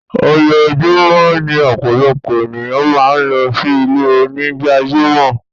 Ojúọ̀júmọ̀ ni ọpọlọpọ̀ ẹ̀niyàn màá ń lọ sí ilẹ̀-onígbàjàmọ́.